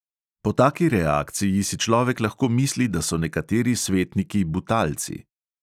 Po taki reakciji si človek lahko misli, da so nekateri svetniki butalci.